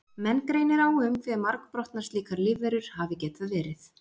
Menn greinir á um hve margbrotnar slíkar lífverur hafi getað verið.